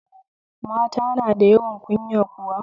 Mata na da yawan kunya kuwa?